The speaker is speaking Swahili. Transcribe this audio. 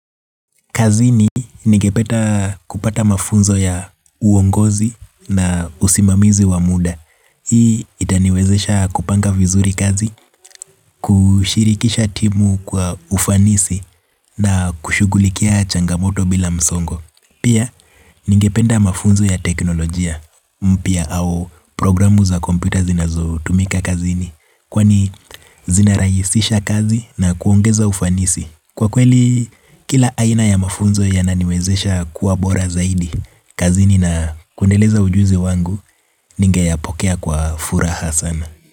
Kazini ningependa kupata mafunzo ya uongozi na usimamizi wa muda. Hii itaniwezesha kupanga vizuri kazi, kushirikisha timu kwa ufanisi na kushughulikia changamoto bila msongo. Pia ingependa mafunzo ya teknolojia mpya au programu za kompyuta zinazotumika kazini. Kwani zinarahisisha kazi na kuongeza ufanisi. Kwa kweli kila aina ya mafunzo yananiwezesha kuwa bora zaidi, kazini na kuendeleza ujuzi wangu ningeyapokea kwa furaha sana.